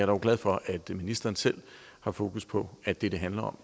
dog glad for at ministeren selv har fokus på at det det handler om